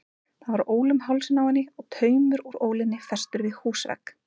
Það var ól um hálsinn á henni og taumur úr ólinni festur við húsvegg.